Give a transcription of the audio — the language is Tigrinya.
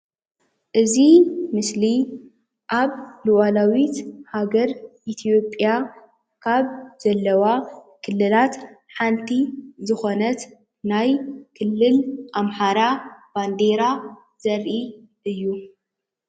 እዚ ምስሊ አብ እዋናዊት ሃገር ኢትየጲያ ካብ ዘለዋ ክልላት ሓንቲ ዝኮነት ናይ ክልል አማሓራ ባንዴራ ዘርኢ እዩ፡፡